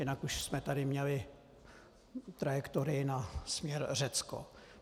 Jinak už jsme tady měli trajektorii na směr Řecko.